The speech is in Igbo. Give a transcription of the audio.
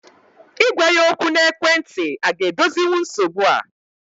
Ị gwa ya okwu n'ekwentị a ga edozinwu nsogbu a?